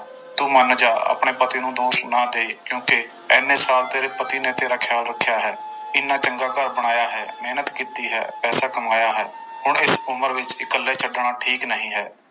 ਤੂੰ ਮੰਨ ਜਾ ਆਪਣੇ ਪਤੀ ਨੂੰ ਦੋਸ਼ ਨਾ ਦੇ ਕਿਉਂਕਿ ਇੰਨੇ ਸਾਲ ਤੇਰੇ ਪਤੀ ਨੇ ਤੇਰਾ ਖਿਆਲ ਰੱਖਿਆ ਹੈ, ਇੰਨਾ ਚੰਗਾ ਘਰ ਬਣਾਇਆ ਹੈ, ਮਿਹਨਤ ਕੀਤੀ ਹੈ, ਪੈਸਾ ਕਮਾਇਆ ਹੈ, ਹੁਣ ਇਸ ਉਮਰ ਵਿੱਚ ਇਕੱਲੇ ਛੱਡਣਾ ਠੀਕ ਨਹੀਂ ਹੈ।